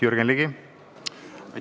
Jürgen Ligi!